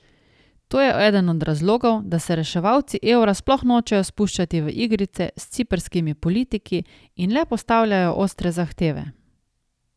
To je eden od razlogov, da se reševalci evra sploh nočejo spuščati v igrice s ciprskimi politiki in le postavljajo ostre zahteve.